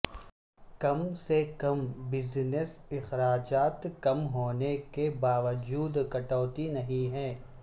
کم سے کم بزنس اخراجات کم ہونے کے باوجود کٹوتی نہیں ہیں